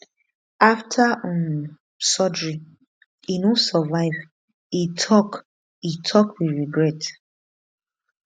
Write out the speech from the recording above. after um surgery e no survive e tok e tok with regret